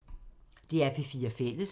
DR P4 Fælles